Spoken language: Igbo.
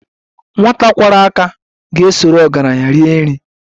Nwata kwọrọ aka ga-esoro ọgaranya rie nri